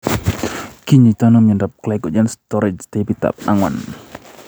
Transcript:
Kinyoitoono miondab glycogen strorage taipit ab ang'wan ?